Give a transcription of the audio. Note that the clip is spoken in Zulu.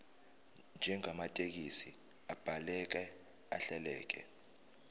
njengamathekisthi abhaleke ahleleka